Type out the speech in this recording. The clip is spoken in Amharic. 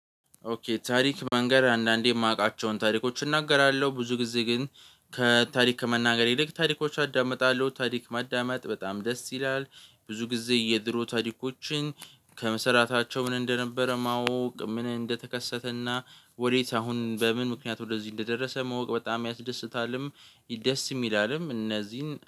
ኦኬ ታሪክ መንገር አንዳንዴ የማውቃቸውን ታሪኮች እናገራለሁ ብዙ ጊዜ ግን ከታሪክ መናገር ይልቅ ታሪኮች አዳምጣለሁ ታሪክ ማዳመጥ በጣም ደስ ይላል። ብዙ ጊዜ የድሮ ታሪኮችን ከመሰራታቸው ምን እንደነበረ ማወቅ ምን እንደተከሰተና ወዴት አሁን በምን ምክንያት ወደዚህ እንደደረሰ ማወቅ በጣም ያስደስታልም። ደስ ይላልም እነዚህን